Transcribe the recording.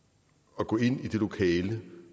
og gå ind i det lokale